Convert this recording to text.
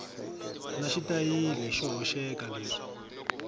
na xitayili xo hoxeka leswi